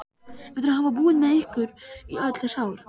Eftir að hafa búið með ykkur í öll þessi ár?